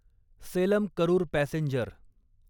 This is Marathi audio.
सेलम करूर पॅसेंजर